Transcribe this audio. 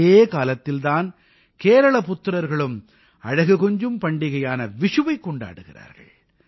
இதே காலத்தில் தான் கேரள புத்திரர்களும் அழகு கொஞ்சும் பண்டிகையான விஷுவைக் கொண்டாடுகிறார்கள்